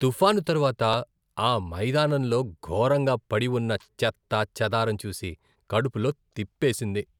తుఫాను తరువాత ఆ మైదానంలో ఘోరంగా పడి ఉన్న చెత్తా చెదారం చూసి, కడుపులో తిప్పేసింది!